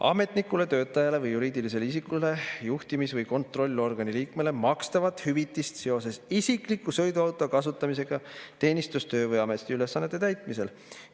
– ametnikule, töötajale või juriidilisele isikule, juhtimis‑ või kontrollorgani liikmele makstava hüvitisega seoses isikliku sõiduauto kasutamisega teenistus‑, töö‑ või ametiülesannete täitmisel.